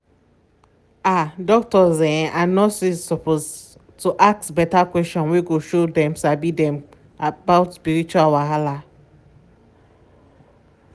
ah doctors um and nurses suppose to ask beta questions wey go show dem sabi dem sabi about spiritual wahala.